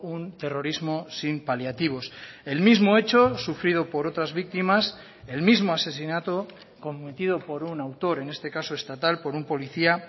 un terrorismo sin paliativos el mismo hecho sufrido por otras víctimas el mismo asesinato cometido por un autor en este caso estatal por un policía